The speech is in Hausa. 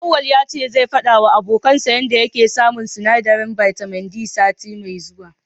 Auwalu ya ce zai faɗawa abokansa yanda yake samun sinadarin bitamin D sati mai zuwa.